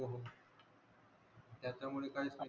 त्याच्या मुळे काहीच नाही